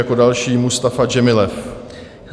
Jako další Mustafa Džemilev.